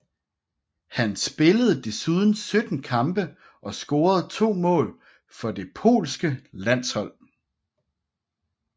Han spillede desuden 17 kampe og scorede to mål for det polske landshold